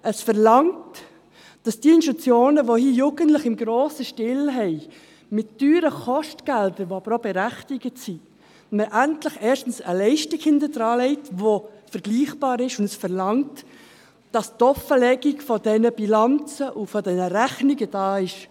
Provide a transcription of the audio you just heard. Es verlangt, dass man bei jenen Institutionen, die Jugendliche im grossen Stil haben, mit teuren Kostgeldern, die aber auch berechtigt sind, endlich erstens eine Leistung hinterlegt, die vergleichbar ist, und die Offenlegung dieser Bilanzen und dieser Rechnungen verlangt.